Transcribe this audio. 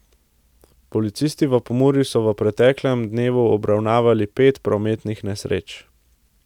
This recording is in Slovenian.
Policisti v Pomurju so v preteklem dnevu obravnavali pet prometnih nesreč.